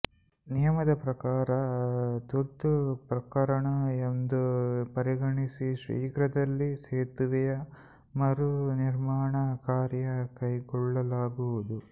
ನಿಯಮದ ಪ್ರಕಾರ ತುರ್ತು ಪ್ರಕರಣ ಎಂದು ಪರಿಗಣಿಸಿ ಶೀಘ್ರದಲ್ಲಿ ಸೇತುವೆಯ ಮರು ನಿರ್ಮಾಣ ಕಾರ್ಯ ಕೈಗೊಳ್ಳಲಾಗುವುದು